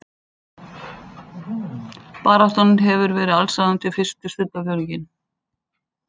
Baráttan hefur verið allsráðandi fyrsta stundarfjórðunginn